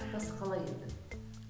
сапасы қалай еді